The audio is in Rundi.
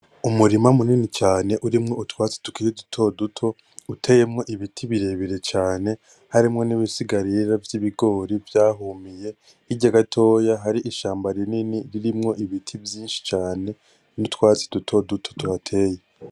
Umurima munini cane urimo utwatsi tukiri duto duto uteyemwo ibiti birebire cane harimwo nibisaga vyibigori byahumiye, hijya gatoya hari ishamba rinini ririmeo ibiti vyinshi cane nutwatsi duto duto tuhateye.